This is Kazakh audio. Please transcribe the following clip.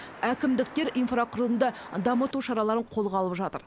әкімдіктер инфрақұрылымды дамыту шараларын қолға алып жатыр